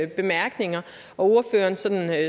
bemærkninger og ordførerens